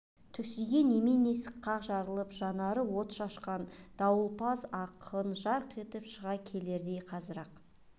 түксиген емен есік қақ жарылып жанары от шашқан дауылпаз ақын жарқ етіп шыға келердей қазір-ақ